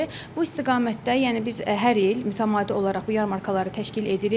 Bu istiqamətdə yəni biz hər il mütəmadi olaraq bu yarmarkaları təşkil edirik.